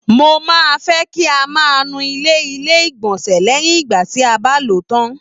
Mo máa fẹ kí a má nu ilẹ ilé igbọnsẹ lẹyìn ìgbà tí a bá ló tán.